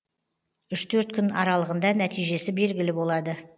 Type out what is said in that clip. үш төрт күн аралығында нәтижесі белгілі болады